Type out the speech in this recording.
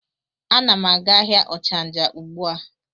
A na m aga ahịa ochanja ugbua.